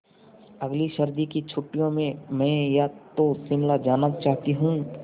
अगली सर्दी की छुट्टियों में मैं या तो शिमला जाना चाहती हूँ